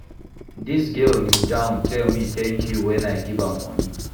Dis girl kneel-down tell me tank you wen I give am moni.